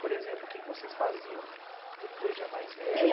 Por exemplo, o que que vocês faziam depois já mais